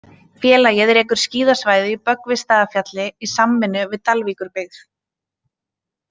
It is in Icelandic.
Félagið rekur skíðasvæðið í Böggvisstaðafjalli í samvinnu við Dalvíkurbyggð.